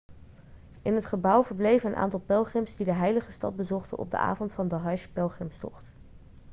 in het gebouw verbleven een aantal pelgrims die de heilige stad bezochten op de avond van de hajj-pelgrimstocht